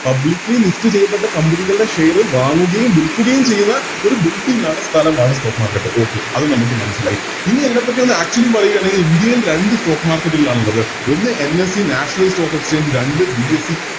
Publicly list ചെയ്യപ്പെട്ട Company കളുടെ Share വാങ്ങുകയും വിൽക്കുകയും ചെയ്ത ഒരു Building ആണ് സ്ഥലമാണ് Stock market okay അത് നമുക്ക് മനസ്സിലായി ഇനി അതിനെപ്പറ്റി ഒന്ന് Actually പറയുകയാണെങ്കില് ഇന്ത്യയിൽ രണ്ട് Stock market ആണുള്ളത് ഒന്ന് NseNatinal stock exchange രണ്ട് BSE